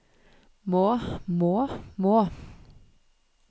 må må må